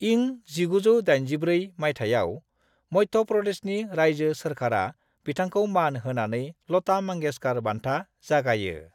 इं 1984 माइथायाव, मध्य प्रदेशनि रायजो सोरखारा बिथांखौ मान होनानै लता मांगेशकर बान्था जागायो।